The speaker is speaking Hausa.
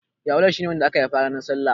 Yawale shi ne wanda aka haifa ranar salla.